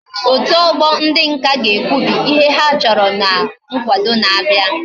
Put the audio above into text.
Otu ogbo ndi nka ga ekwebi ihe ha choro na nkwado na abia